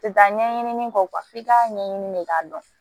Tɛ taa ɲɛɲini kɔ f'i ka ɲɛɲini de k'a dɔn